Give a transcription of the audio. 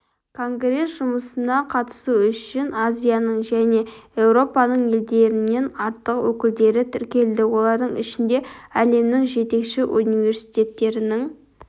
конгресс жұмысына қатысу үшін азияның және еуропаның елдерінен артық өкілдері тіркелді олардың ішінде әлемнің жетекші университеттерінің